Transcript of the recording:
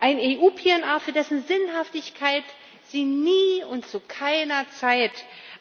Ein EU PNR, für dessen Sinnhaftigkeit Sie nie und zu keiner Zeit